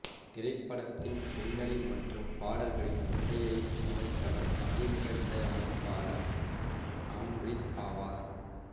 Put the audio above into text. திரைப்படத்தின் பின்னணி மற்றும் பாடல்களின் இசையை அமைத்தவர் அறிமுக இசை அமைப்பாளர் அம்ரித் ஆவார்